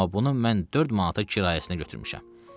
Amma bunu mən dörd manata kirayəsinə götürmüşəm.